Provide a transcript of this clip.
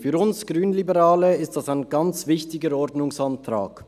Für uns Grünliberale ist das ein ganz wichtiger Ordnungsantrag.